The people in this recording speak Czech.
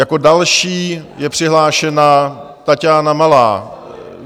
Jako další je přihlášena Taťána Malá.